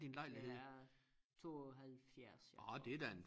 Den er 72 ja tror jeg